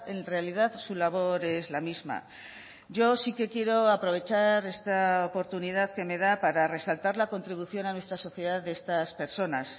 en realidad su labor es la misma yo sí que quiero aprovechar esta oportunidad que me da para resaltar la contribución a nuestra sociedad de estas personas